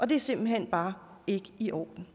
det er simpelt hen bare ikke i orden